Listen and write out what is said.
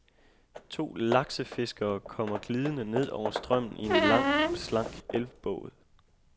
To laksefiskere kommer glidende ned over strømmen i en lang og slank elvbåd.